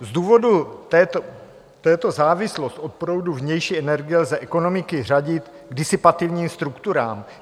Z důvodu této závislosti od proudu vnější energie lze ekonomiky řadit k disipativním strukturám.